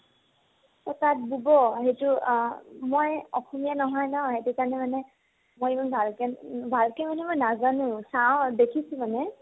অ । তাতঁ বব, সেইতো আ । মই অসমীয়া নহয় ন সেইতো কাৰণে মানে মই ইমান ভাল কে, ভাল কে মানে মই নাজানো । চাও, দেখিছো মানে ।